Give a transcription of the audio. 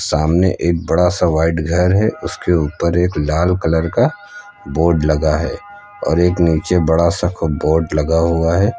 सामने एक बड़ा सा व्हाइट घर है उसके ऊपर एक लाल कलर का बोर्ड लगा है और एक नीचे बड़ा सा खूब बोर्ड लगा हुआ है।